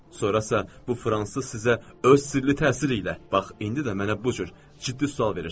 Sonrasa bu Fransız sizə öz sirli təsiri ilə, bax indi də mənə bu cür ciddi sual verirsiz.